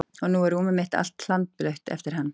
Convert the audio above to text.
Og nú er rúmið mitt allt hlandblautt eftir hann.